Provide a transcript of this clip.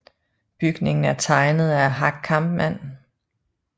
Bygningen er tegnet af Hack Kampmann